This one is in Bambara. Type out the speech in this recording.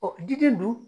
jiri dun